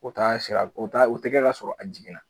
O t'a sira u ta u tɛ kɛ ka sɔrɔ a jiginna.